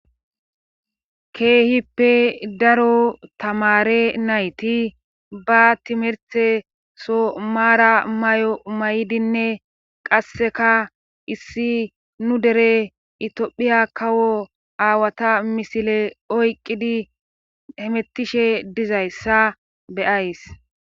Keehippe daro tamare nayti ba timerte so maara mayo may7inne qasseka issi nu dere itiphiya kawo aawata misile oyqqidi hemettishe dizayssa beyays.